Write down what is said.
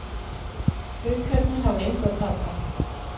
Haukarnir hafa engu að tapa